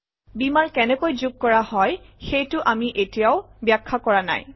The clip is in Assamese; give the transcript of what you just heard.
বীমাৰ কেনেকৈ যোগ কৰা হয় সেইটো আমি এতিয়াও ব্যাখ্যা কৰা নাই